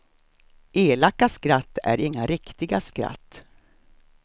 Elaka skratt är inga riktiga skratt.